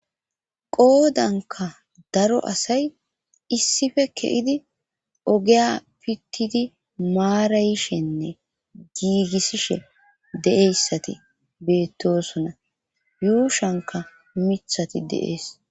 qoodanka daro asay issife ke7idi ogeya pittidi maarayishenne giigissishe deeyssati beettosona yuushanka mithati de'ees